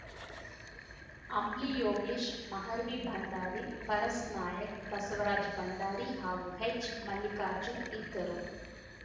ಅಂಬ್ಲಿ ಯೋಗೇಶ್‌ ಮಹಾರ್ವಿ ಭಂಡಾರಿ ಪರಸನಾಯ್ಕ ಬಸವರಾಜ್‌ ಭಂಡಾರಿ ಹಾಗೂ ಹೆಚ್‌ಮಲ್ಲಿಕಾರ್ಜುನ್ ಇದ್ದರು